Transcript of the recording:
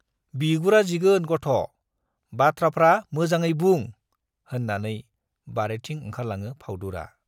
बिगुरा जिगोन गथ', बाथ्राफ्रा मोजाङै बुं होन्नानै बारिथिं ओंखारलाङो फाउदुरा।